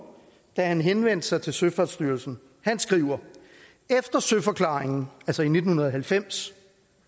da han henvendte sig til søfartsstyrelsen han skriver efter søforklaringen altså i nitten halvfems